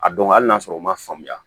A dɔn hali n'a sɔrɔ u ma faamuya